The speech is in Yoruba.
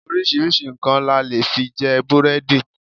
Oríṣiríṣi nǹkan la lè fi jẹ búrẹ́dì.